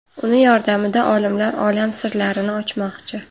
Uning yordamida olimlar olam sirlarini ochmoqchi.